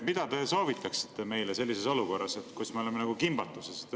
Mida te soovitaksite meile sellises olukorras, sest me oleme kimbatuses?